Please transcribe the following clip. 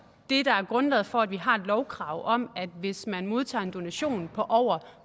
det der er grundlaget for at vi har et lovkrav om at hvis man modtager en donation på over